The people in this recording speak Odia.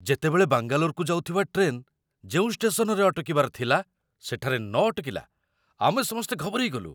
ଯେତେବେଳେ ବାଙ୍ଗାଲୋରକୁ ଯାଉଥିବା ଟ୍ରେନ୍ ଯେଉଁ ଷ୍ଟେସନରେ ଅଟକିବାର ଥିଲା ସେଠାରେ ନ ଅଟକିଲା, ଆମେ ସମସ୍ତେ ଘବରେଇଗଲୁ।